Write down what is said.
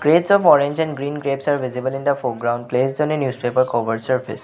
of orange and green grapes are visible in the foreground placed on a newspaper cover surface.